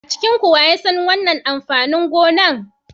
A cikinku wa ya san wannan amfanin gona?